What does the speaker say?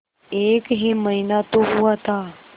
एक ही महीना तो हुआ था